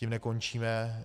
Tím nekončíme.